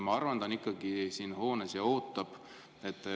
Ma arvan, et ta on ikka veel siin hoones ja ootab.